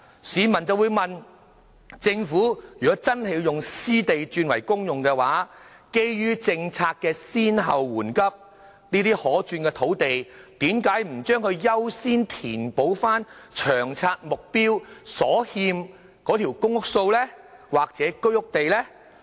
市民便會問，如果政府真的要把私地轉為公用，基於政策的先後緩急，這些可轉變用途的土地為何不優先填補《長遠房屋策略》目標所欠的公屋或居屋土地呢？